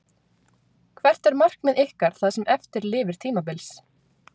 Hvert er markmið ykkar það sem eftir lifir tímabils?